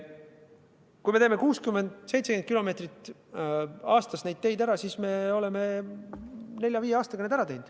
Kui teeme 60 või 70 kilomeetrit maanteid aastas, siis oleme nelja-viie aastaga need ära teinud.